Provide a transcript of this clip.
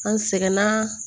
An sɛgɛnna